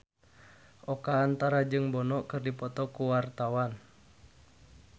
Oka Antara jeung Bono keur dipoto ku wartawan